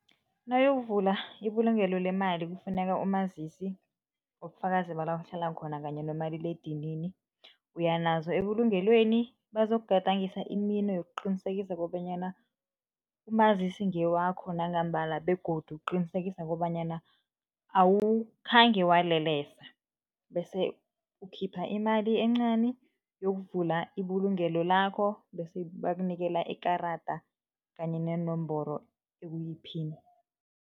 Nawuyokuvula ibulungelo lemali kufuneka umazisi, ubufakazi bala uhlala khona kanye nomaliledinini. Uya nazo ebulungelweni, bazokugadangisa imino yokuqinisekisa kobanyana umazisi ngewakho nangambala begodu ukuqinisekisa kobanyana awukhange walelesa bese ukhipha imali encani yokuvula ibulungelo lakho bese bakunikela ikarada kanye neenomboro, ekuyiphini.